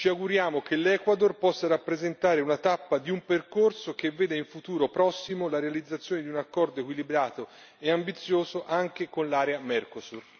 Ci auguriamo che l'Ecuador possa rappresentare una tappa di un percorso che vede, in futuro prossimo, la realizzazione di un accordo equilibrato e ambizioso, anche con l'area Mercosur.